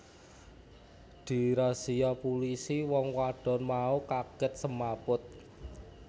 Dirasia pulisi wong wadon mau kagèt semaput